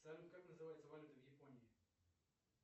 салют как называется валюта в японии